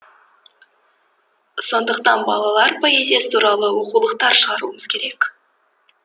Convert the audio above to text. сондықтан балалар поэзиясы туралы оқулықтар шығаруымыз керек